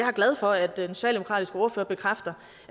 er glad for at den socialdemokratiske ordfører bekræfter